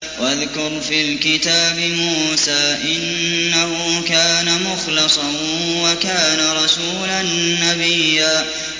وَاذْكُرْ فِي الْكِتَابِ مُوسَىٰ ۚ إِنَّهُ كَانَ مُخْلَصًا وَكَانَ رَسُولًا نَّبِيًّا